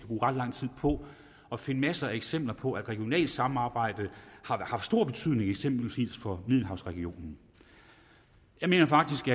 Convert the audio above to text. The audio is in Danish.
bruge ret lang tid på at finde masser af eksempler på at regionalt samarbejde har haft stor betydning eksempelvis for middelhavsregionen jeg mener faktisk